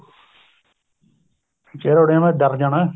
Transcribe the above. ਚਿਹਰਾ ਉੱਡ ਜਾਣਾ ਡਰ ਜਾਣਾ